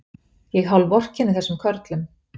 Ég hálfvorkenni þessum körlum.